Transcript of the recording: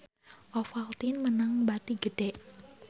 Ovaltine meunang bati gede